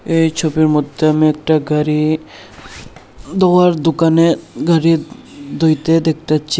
এই ছবির মধ্যে আমি একটা গাড়ি ধোয়ার দোকানে গাড়ি ধুইতে দেখতাছি।